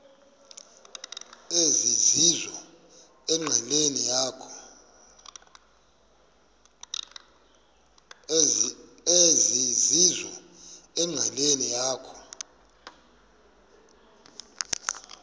ezizizo enqileni yakho